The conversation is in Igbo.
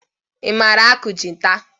I mara akụ gịta?